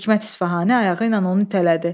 Hikmət İsfahani ayağı ilə onu itələdi.